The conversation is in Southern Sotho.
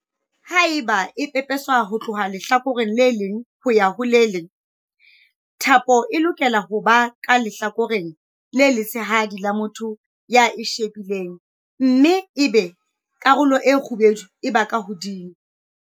Haeba e pepeswa ho tloha lehlakoreng le leng ho ya ho le leng, thapo e lokela ho ba ka lehlakoreng le letshehadi la motho ya e shebileng mme ebe karolo e kgubedu e ba ka hodimo.